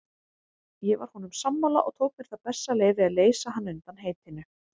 Ég var honum sammála og tók mér það bessaleyfi að leysa hann undan heitinu.